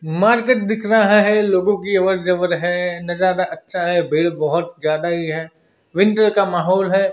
Market दिख रहा है लोगों की अबर जबर है नजारा अच्छा है भीड़ बहोत ज्यादा ही है विंटर का माहौल है।